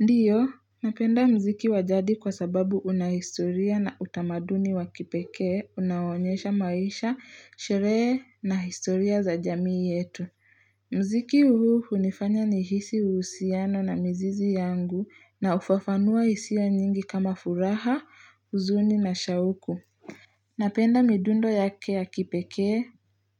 Ndio, napenda mziki wa jadi kwa sababu una historia na utamaduni wa kipekee, unaonyesha maisha, sherehe na historia za jamii yetu. Mziki huu unifanya nihisi uhusiano na mzizi yangu na ufafanua hisia nyingi kama furaha, uzuni na shauku. Napenda midundo yake ya kipekee,